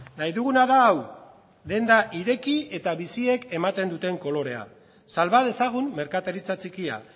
nahi duguna da hau denda ireki eta biziek ematen duten kolorea salba dezagun merkataritza txikia